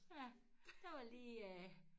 Ja der var lige øh